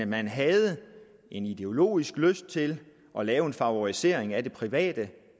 men havde en ideologisk lyst til at lave en favorisering af det private